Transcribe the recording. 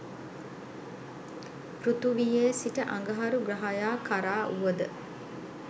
පෘථිවියේ සිට අඟහරු ග්‍රහයා කරා වුවද